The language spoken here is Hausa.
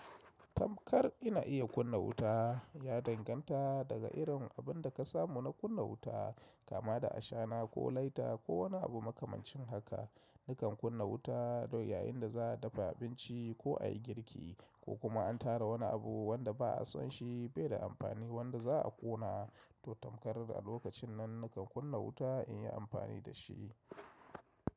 Tamkar ina iya kunna wuta ya danganta daga irin abin da ka samu na kunna wuta. Kama da ashana ko laita ko wani abu makamancin haka. Nikan kunna wuta don yayinda za a dafa abinci ko a yi girki ko kuma an tara wani abu wanda ba a son shi bai da amfani wadda za'a ƙona to tamkarar a lokacin nan nakan kunna wuta in yi amfani da shi.